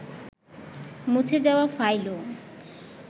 মুছে যাওয়া ফাইলও